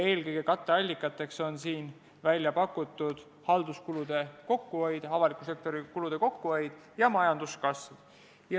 Eelkõige on katteallikateks välja pakutud halduskulude kokkuhoid, avaliku sektori kulude kokkuhoid ja majanduskasv.